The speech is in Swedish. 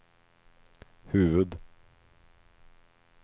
huvud